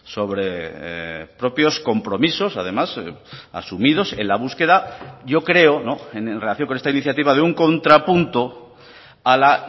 sobre propios compromisos además asumidos en la búsqueda yo creo en relación con esta iniciativa de un contrapunto a la